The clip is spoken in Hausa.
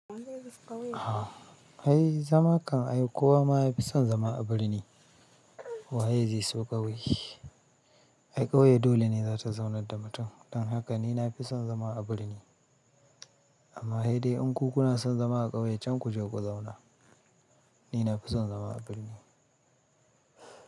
Ai zama kam ai kowa ma ya fi son zama a birni. Waye zai so ƙauye? Ai ƙauye dole ne za ta zaunar da mutum. Dan haka ni na fi son zama a birni. Amma hei dai in ku kuna son zama a ƙauye can ku je ku zauna. Ni na fi son zama a birni.